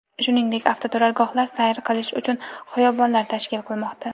Shuningdek, avtoturargohlar, sayr qilish uchun xiyobonlar tashkil qilinmoqda.